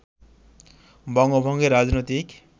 বঙ্গভঙ্গের রাজনৈতিক